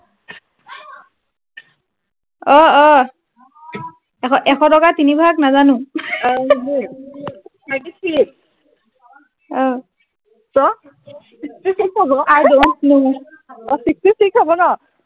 অ অ এশ এশ টকাত তিনি ভাগ নাজানো thirty six ক sixty six হব i don know অ sixty six হব ন